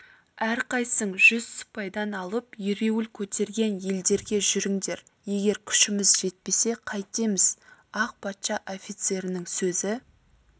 әрқайсың жүз сыпайдан алып ереуіл көтерген елдерге жүріңдер егер күшіміз жетпесе қайтеміз ақ патша офицерінің сөзі